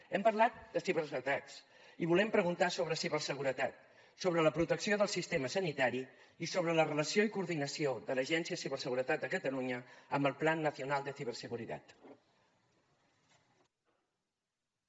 hem parlat de ciberatacs i volem preguntar sobre ciberseguretat sobre la protecció del sistema sanitari i sobre la relació i coordinació de l’agència de ciberseguretat de catalunya amb el plan nacional de ciberseguridad